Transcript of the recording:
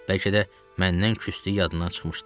Bəlkə də məndən küsdüyü yaddan çıxmışdı.